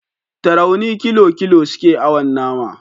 Tarauni kilo kilo suke awon nama